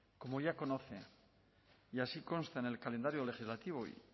como ya conocen y así consta en el calendario legislativo